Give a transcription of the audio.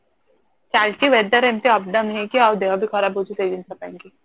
ଚାଲିଚି weather ଏମିତି up down ହେଇକି ଅଉ ଦେହ ବି ଖରାପ ହଉଚି ସେଇ ଜିନଷ ପାଇଁକି